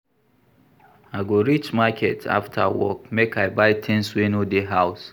I go reach market afta work make I buy tins wey no dey house.